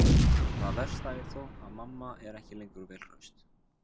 Það versta er þó að mamma er ekki lengur vel hraust.